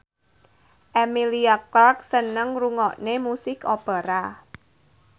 Emilia Clarke seneng ngrungokne musik opera